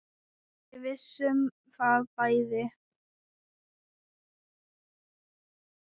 Við vissum það bæði.